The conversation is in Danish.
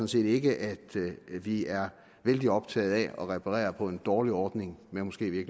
set ikke vi er vældig optaget af at reparere på en dårlig ordning ved måske i